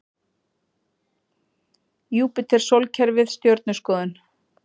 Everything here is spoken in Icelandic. Júpíter Sólkerfið Stjörnuskoðun.